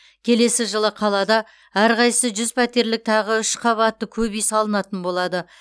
келесі жылы қалада әрқайсысы жүз пәтерлік тағы үш көпқабатты үй салынатын болады